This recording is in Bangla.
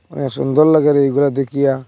বড় সুন্দর লাগে এইগুলা দেখিয়া।